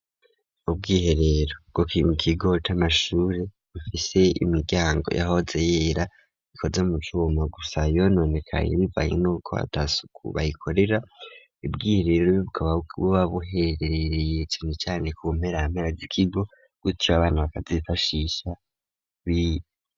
Ubwiherero bgo kim kigoti amashure ufise imiryango yahoze yera ikoze mu cuma gusa yononekane ibivaye n'uko hatasukubayikorera ibwiherero bibwobakubwo babuhereereye ikintu cane ku bumpera amera zikigo gwutyo abana bakazifashisha bire.